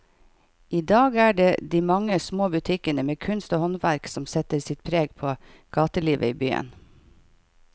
I dag er det de mange små butikkene med kunst og håndverk som setter sitt preg på gatelivet i byen.